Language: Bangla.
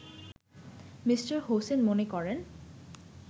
মি: হোসেন মনে করেন